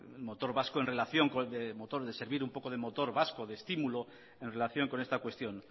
motor vasco en relación con el motor de servir un poco de motor vasco de estímulo en relación con esta cuestión